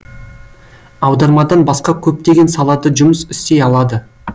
аудармадан басқа көптеген салада жұмыс істей алады